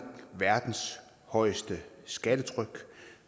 verdens højeste skattetryk